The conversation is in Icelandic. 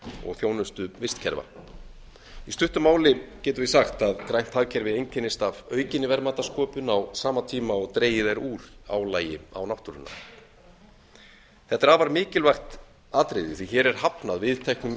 og þjónustu vistkerfa í stuttu máli getum við sagt að grænt hagkerfi einkennist af aukinni verðmætasköpun á sama tíma og dregið er úr álagi á náttúruna þetta er afar mikilvægt atriði því að hér er hafnað viðteknum